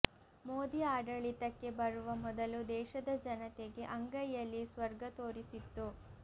ಮೋದಿ ಆಡಳಿತಕ್ಕೆ ಬರುವ ಮೊದಲು ದೇಶದ ಜನತೆಗೆ ಅಂಗೈಯಲ್ಲಿ ಸ್ವರ್ಗ ತೋರಿಸಿತ್ತು